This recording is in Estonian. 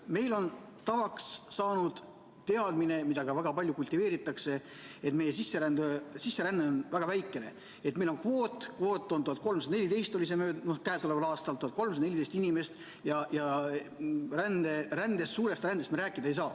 Meil on tavaks saanud teadmine, mida ka väga palju kultiveeritakse, et meie sisseränne on väga väikene, et meil on kvoot – 1314 inimest oli see käesoleval aastal – ja suurest rändest me rääkida ei saa.